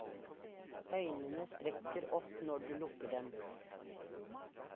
Øynene spretter opp når du lukker dem.